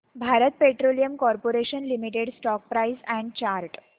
Bharat Petroleum Corporation Limited stock price and chart